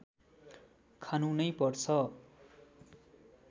खानु नै पर्छ